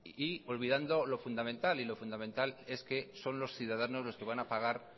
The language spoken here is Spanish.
y olvidando lo fundamental y lo fundamental es que son los ciudadanos los que van a pagar